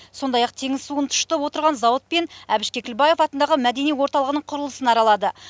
сондай ақ теңіз суын тұщытып отырған зауыт пен әбіш кекілбаев атындағы мәдени орталығының құрылысын аралады